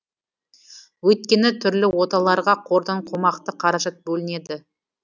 өйткені түрлі оталарға қордан қомақты қаражат бөлінеді